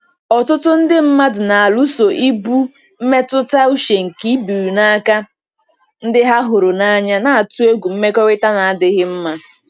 Ọtụtụ ndị mmadụ na-alụso ibu mmetụta uche nke ibiri n'aka ndị ha hụrụ n'anya, na-atụ egwu mmekọrịta na-adịghị mma.